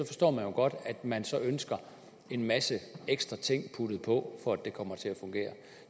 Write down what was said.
forstår jeg jo godt at man så ønsker en masse ekstra ting puttet på for at det kommer til at fungere